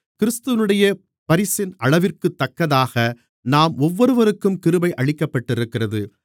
கிறிஸ்துவினுடைய பரிசின் அளவிற்குத்தக்கதாக நம் ஒவ்வொருவருக்கும் கிருபை அளிக்கப்பட்டிருக்கிறது